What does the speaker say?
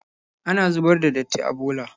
Ana zubar da datti a bola.